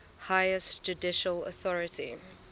highest judicial authority